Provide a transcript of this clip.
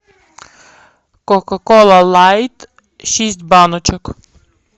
кока кола лайт шесть баночек